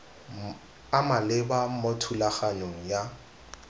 a maleba mo thulaganyong ya